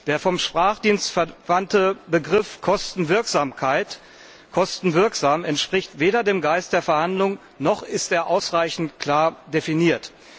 Der vom Sprachdienst verwandte Begriff kostenwirksam entspricht weder dem Geist der Verhandlungen, noch ist er ausreichend klar definiert.